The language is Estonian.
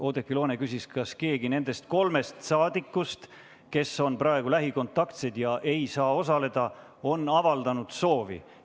Oudekki Loone küsis, kas keegi nendest kolmest rahvasaadikust, kes on praegu lähikontaktsed ega saa istungil osaleda, on avaldanud soovi.